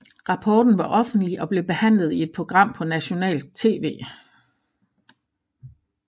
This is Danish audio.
Rapporten var offentlig og blev behandlet i et program på nationalt tv